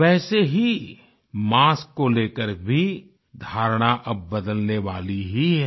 वैसे ही मास्क को लेकर भी धारणा अब बदलने वाली ही है